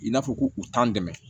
I n'a fɔ ko u t'an dɛmɛ